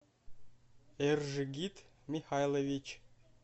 эржигит михайлович